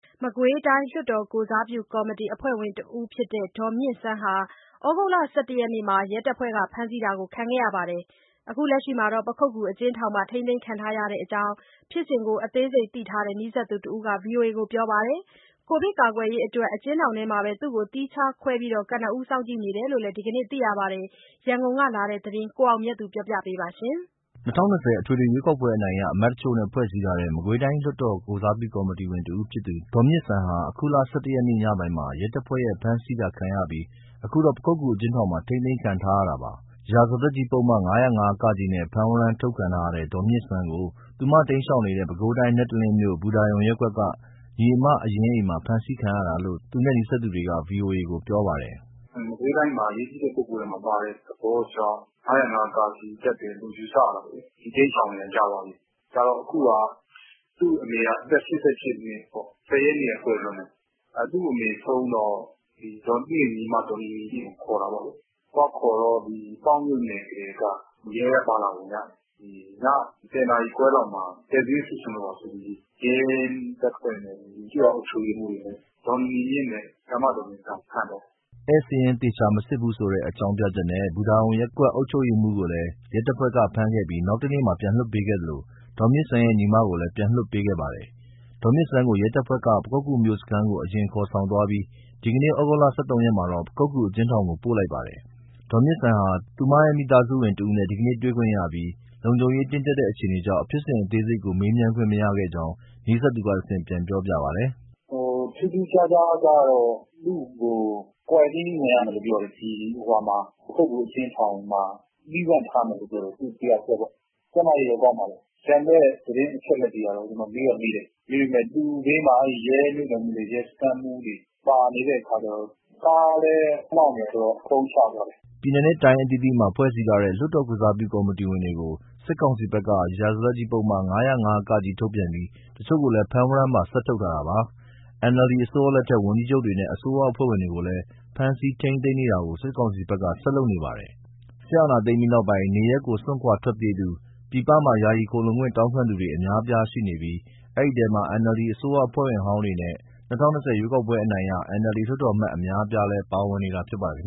မကွေးတိုင်း လွှတ်တော်ကိုယ်စားပြုကော်မတီ အဖွဲ့ဝင်တဦးဖြစ်တဲ့ ဒေါ်မြင့်စန်းဟာ ဩဂုတ်လ ၁၁ ရက်မှာ ရဲတပ်ဖွဲ့က ဖမ်းဆီးတာခံခဲ့ရပြီး အခု ပခုက္ကူအကျဉ်းထောင်မှာ ထိန်းသိမ်းခံထားရကြောင်း ဖြစ်စဉ်ကို အသေးစိတ်သိထားတဲ့ နီးစပ်သူတဦးက ဗွီအိုအေကို ပြောပါတယ်။ ကိုဗစ်ကာကွယ်ရေးအတွက် အကျဉ်းထောင်ထဲမှာပဲ သူ့ကိုသီးခြားခွဲပြီး ကနဦး စောင့်ကြည့်နေတယ်လို့ ဒီကနေ့သိရပါတယ်။ ရန်ကုန်ကလာတဲ့ ဒီသတင်းကို ကိုအောင်မြတ်သူက ပြောပြပါမယ်။ ၂၀၂၀ အထွေထွေ ရွေးကောက်ပွဲအနိုင်ရ အမတ်တချို့နဲ့ ဖွဲ့စည်းထားတဲ့ မကွေးတိုင်း လွှတ်တော် ကိုယ်စားပြုကော်မတီဝင်တဦးဖြစ်သူ ဒေါ်မြင့်စန်းဟာ အခုလ ၁၁ ရက် ညပိုင်းမှာ ရဲတပ်ဖွဲ့ရဲ့ ဖမ်းဆီးတာခံရပြီး အခုတော့ ပခုက္ကူအကျဉ်းထောင်မှာ ထိန်းသိမ်းခံထားရတာပါ။ ရာဇသတ်ကြီးပုဒ်မ ၅၀၅ ( က) နဲ့ ဖမ်းဝရမ်းထုတ်ခံထားရတဲ့ ဒေါ်မြင့်စန်းကို သူတိမ်းရှောင်နေတဲ့ ပဲခူးတိုင်း၊ နတ်တလင်းမြို့၊ ဘူတာရုံရပ်ကွက်က ညီအမအရင်းအိမ်မှာ ဖမ်းဆီးခံခဲ့ရတာလို့ သူနဲ့နီးစပ်သူက ဗွီအိုအေကို ပြောပါတယ်။ “မကွေးတိုင်းထဲမှာ အရေးကြီးတဲ့ ပုဂ္ဂိုလ်ထဲမှာပါတဲ့သဘောကြောင့် ၅၀၅ ( က) တပ်တယ်လို့ ယူဆရတယ်ပေါ့လေ။ သူတိမ်းရှောင်နေတာ ကြာပါပြီ။ ကြာတော့ အခုဟာက သူ့အမေက အသက် ၈၈ နှစ်ပေါ့။ ၁၀ ရက်နေ့က ကွယ်လွန်တယ်၊ သူ့အမေဆုံးတော့ သူ့ရဲ့ညီမ ဒေါ်နီနီမြင့်ကို ခေါ်တာပေါ့လေ။ သွားခေါ်တော့ ပေါက်မြို့နယ်ကတည်းက ရဲက ပါလာပုံရတယ်။ ည ၁၀ နာရီခွဲလောက်မှာ ဧည့်စာရင်း စစ်ချင်လို့ပါဆိုပြီး ရဲတပ်ဖွဲ့နဲ့ ကျေးရွာအုပ်ချုပ်ရေးမှူးရယ် ဒေါ်နီနီမြင့်နဲ့ ဆရာမဒေါ်မြင့်စန်းကို ဖမ်းသွားတာ။” ဧည့်စာရင်းသေချာမစစ်ဘူးဆိုတဲ့ အကြောင်းပြချက်နဲ့ ဘူတာရုံရပ်ကွက် အုပ်ချုပ်ရေးမှူးကိုလည်း ရဲတပ်ဖွဲ့ ဖမ်းခဲ့ပြီး နောက်တနေ့မှာ ပြန်လွှတ်ပေးခဲ့သလို ဒေါ်မြင့်စန်းရဲ့ ညီမကိုလည်း ပြန်လွှတ်ပေးခဲ့ပါတယ်။ ဒေါ်မြင့်စန်းကို ရဲတပ်ဖွဲ့က ပခုက္ကူမြို့မစခန်းကို အရင်ခေါ်ဆောင်သွားပြီး ဒီနေ့ ဩဂုတ်လ ၁၃ ရက်မှာတော့ ပခုက္ကူအကျဉ်းထောင်ကို ပို့လိုက်ပါတယ်။ ဒေါ်မြင့်စန်းဟာ သူရဲ့မိသားစုဝင်တဦးနဲ့ ဒီကနေ့ တွေ့ခွင့်ရခဲ့ပြီး လုံခြုံရေးတင်းကျပ်တဲ့ အခြေအနေကြောင့် ဖြစ်စဉ်အသေးစိတ်ကို မေးမြန်းခွင့်မရခဲ့ကြောင်း နီးစပ်သူက တဆင့် ပြန်ပြောပြပါတယ်။ “ထူးထူးခြားခြားကတော့ သူ့ကို ကွာရန်တင်း ဝင်ရမယ်လို့ပြောတယ်။ ဒီ ပခုက္ကူအကျဉ်းထောင်မှာ သီးသန့်ထားမယ်လို့ ပြောတယ် သူတယောက်တည်းပေါ့။ ကျန်းမာရေးတော့ ကောင်းပါတယ်။ ကျန်တဲ့ သတင်းအချက်အလက်တွေကတော့ ကျနော် မေးတော့မေးတယ် ဒါပေမဲ့ သူ့ဘေးမှာ အဲဒီရဲမြို့နယ်မှူးတွေ၊ စခန်းမှူးတွေ ပါနေတဲ့အခါကျတော့ ကားလည်း မောင်းနေတယ်ဆိုတော့ ဖုန်းချသွားတယ်။” ပြည်နယ်နဲ့တိုင်း အသီးသီးမှာ ဖွဲ့စည်းထားတဲ့ လွှတ်တော်ကိုယ်စားပြု ကော်မတီဝင်တွေကို စစ်ကောင်စီဘက်က ရာဇသတ်ကြီးပုဒ်မ ၅၀၅ (က) ထုတ်ပြန်ပြီး တချို့ကိုလည်း ဖမ်းဝရမ်းပါ ဆက်ထုတ်ထားတာပါ။ NLD အစိုးရလက်ထက်က ဝန်ကြီးချုပ်တွေနဲ့ အစိုးရအဖွဲ့ဝင်တွေကိုလည်း ဖမ်းဆီးထိမ်းသိမ်းနေတာတွေကို စစ်ကောင်စီဘက်က ဆက်လုပ်နေပါတယ်။ စစ်အာဏာသိမ်းပြီးနောက်ပိုင်း နေရပ်ကို စွန့်ခွာထွက်ပြေးသူတွေ၊ ပြည်ပမှာ ယာယီခိုလှုံခွင့်တောင်းခံသူတွေ အများအပြားရှိနေပြီး အဲဒီအထဲမှာ NLD အစိုးရအဖွဲ့ဝင်ဟောင်းတွေနဲ့ ၂၀၂၀ ရွေးကောက်ပွဲအနိုင်ရ NLD လွှတ်တော်အမတ် အများအပြားလည်း ပါဝင်နေတာ ဖြစ်ပါတယ်။